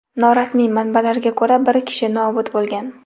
Norasmiy manbalarga ko‘ra, bir kishi nobud bo‘lgan.